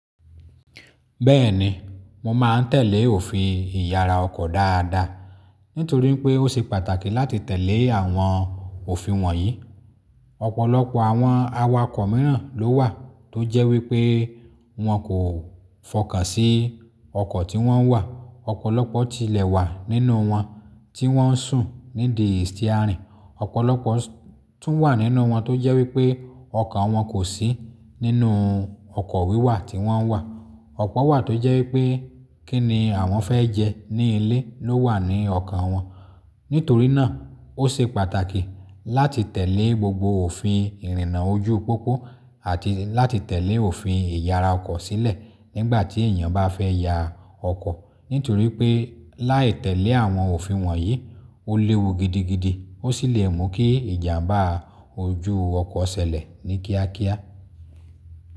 Bẹ́ẹ̀ni, mo máa tẹ̀lé òfin ìyara ọkọ̀ dáadáa, nítorí pé ó ṣe pàtàkì láti tẹ̀lé àwọn òfin wọ̀nyí. Ọ̀pọ̀lọpọ̀ àwọn awakọ̀ mìíràn ló wà tó jẹ́ wípé wọn kò fọkàn sí ọkọ̀ tí wọ́n wà. Ọ̀pọ̀lọpọ̀ ti lẹ̀wà nínú wọn tí wọ́n ń sùn nídìí stiárìnì. Ọ̀pọ̀lọpọ̀ tún wà nínú wọn tó jẹ́ wípé ọkọ̀ wọn kò sí nínú ọkọ̀ wíwà tí wọ́n wà. Ọ̀pọ̀ wà tó jẹ́ wípé kí ni àwọn fẹ́ jẹ ní ilé ló wà ní ọkàn wọn. Nítorí náà ó ṣe pàtàkì láti tẹ̀lé gbogbo òfin ìrìnnà ojú pópó àti láti tẹ̀lé òfin ìyara ọkọ̀ sílẹ̀ nígbà tí èèyàn bá fẹ́ ya ọkọ̀. Nítorí pé láì tẹ̀lé àwọn òfin wọ̀nyí, ó léwu gidigidi ó sì lè mú kí ìjàmbá ojú ọkọ̀ ṣẹlẹ̀ ní kíákíá.